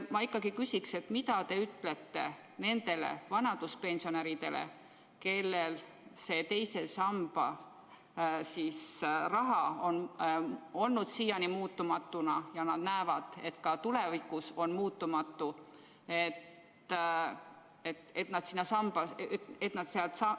Ma ikkagi küsiksin, et mida te ütlete nendele vanaduspensionäridele, kellel II samba raha on siiani olnud muutumatu ja kes näevad, et ka tulevikus on see muutumatu, et nad seda raha välja ei võtaks?